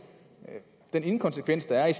der inkonsekvens der er i